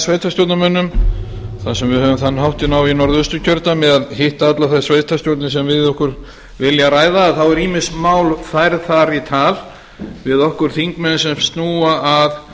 sveitarstjórnarmönnum þar sem við höfum þann háttinn á í norðausturkjördæmi að hitta allar þær sveitarstjórnir sem við okkur vilja ræða þá eru ýmis mál færð þar í tal við okkur þingmenn sem snúa að